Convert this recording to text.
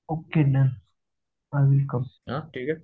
okay done